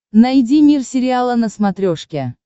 найди мир сериала на смотрешке